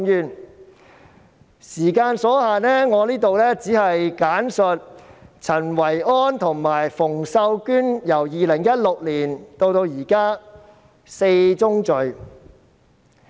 但由於時間所限，我只會在此簡述陳維安及馮秀娟由2016年至今的4宗罪。